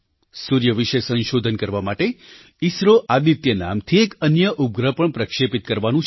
સૂર્ય વિશે સંશોધન કરવા માટે ઇસરો આદિત્ય નામથી એક અન્ય ઉપગ્રહ પણ પ્રક્ષેપિત કરવાનું છે